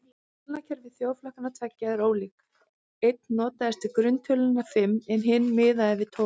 Talnakerfi þjóðflokkanna tveggja var ólíkt, einn notaðist við grunntöluna fimm en hinn miðaði við tólf.